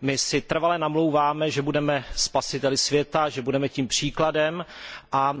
My si trvale namlouváme, že budeme spasiteli světa, že budeme tím příkladem, a